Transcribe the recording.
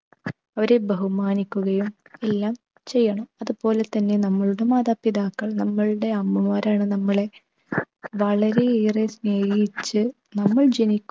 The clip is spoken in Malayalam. അവരെ ബഹുമാനിക്കുകയും എല്ലാം ചെയ്യണം. അതുപോലെ തന്നെ നമ്മളുടെ മാതാപിതാക്കൾ, നമ്മൾടെ അമ്മമാർ ആണ് നമ്മളെ വളരെയേറെ സ്നേഹിച്ച് നമ്മൾ ജനി